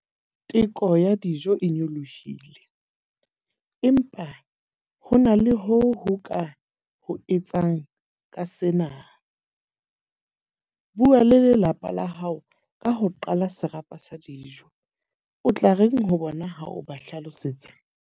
Teko ya dijo e nyolohile. Empa ho na le ho ho ka ho etsang ka sena. Bua le lelapa la hao ka ho qala serapa sa dijo. O tla reng ho bona ha o ba hlalosetsa.